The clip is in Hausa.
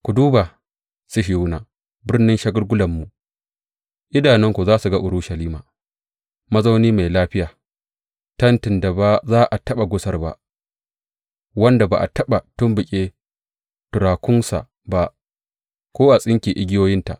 Ku duba Sihiyona, birnin shagulgulanmu; idanunku za su ga Urushalima, mazauni mai lafiya, tentin da ba za a taɓa gusar ba; wanda ba a taɓa tumɓuke turakunsa ba, ko a tsinke igiyoyinta.